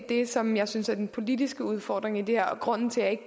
det som jeg synes er den politiske udfordring i det her og grunden til at